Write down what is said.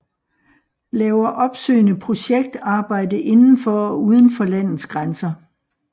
Laver opsøgende projekt arbejde inden for og uden for landets grænser